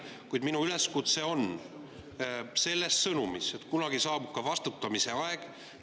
Kuid minu üleskutse on selles sõnumis, et kunagi saabub ka vastutamise aeg.